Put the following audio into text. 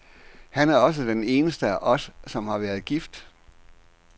Han er også den eneste af os, som har været gift.